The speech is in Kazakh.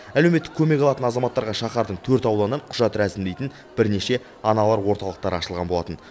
әлеуметтік көмек алатын азаматтарға шаһардың төрт ауданынан құжат рәсімдейтін бірнеше аналар орталықтары ашылған болатын